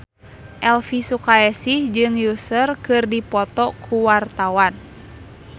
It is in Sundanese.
Elvi Sukaesih jeung Usher keur dipoto ku wartawan